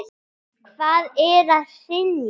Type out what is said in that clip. Hvað er að hrynja?